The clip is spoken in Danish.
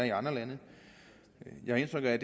i andre lande jeg har indtryk af